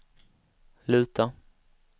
luta